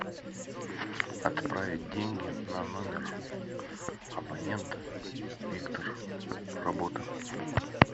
отправить деньги на номер абонента виктор работа